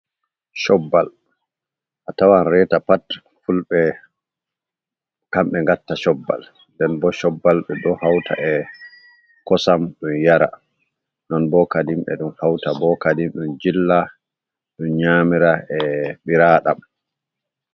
Chobbal a tawan reta pat fulɓe kamɓe ngatta chobbal nden bo shobbal ɓe ɗo hauta e kosam ɗum yara non bo kadim ɓe ɗon hauta bo kadim ɗum jilla ɗum nyamira e ɓiraɗam.